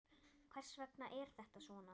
Hvers vegna er þetta svona?